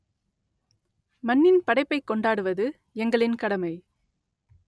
மண்ணின் படைப்பைக் கொண்டாடுவது எங்களின் கடமை